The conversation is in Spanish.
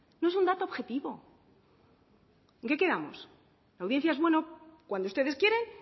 no es un dato objetivo en qué quedamos la audiencia es buena cuando ustedes quieren